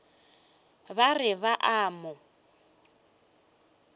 ba re ba a mo